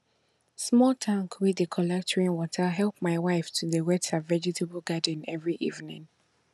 small tank wey dey collect rainwater help my wife to dey wet her vegetable garden every evening